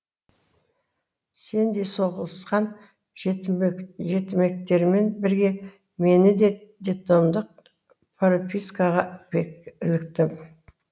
сеңдей соғылысқан жетімектермен бірге мені де детдомдық пропискаға іліктім